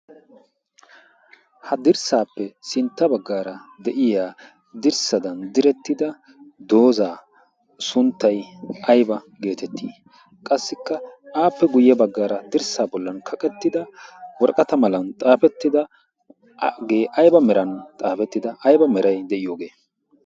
Ha dirssaappe sintta baggaara de'iya dirssadan direttida doozaa sunttay ayba geetetti? Qassikka aappe guyye baggaara dirssaa bollan kaqettida woraqata malan xaafettidagee ayba meran xaafettida ayba meray de'iyoogee?